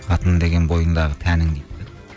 қатын деген бойыңдағы тәнің дейді